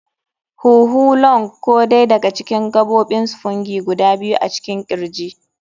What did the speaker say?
huhu. [lŭng] Ko dai daga cikin gabobin spongy guda biyu a cikin kirji.